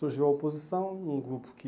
Surgiu a oposição, um grupo que